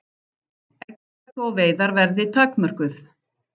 Eggjataka og veiðar verði takmörkuð